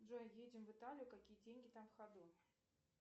джой едем в италию какие деньги там в ходу